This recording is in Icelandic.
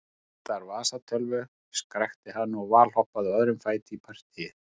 Mig vantar vasatölvu, skrækti hann og valhoppaði á öðrum fæti í partýið.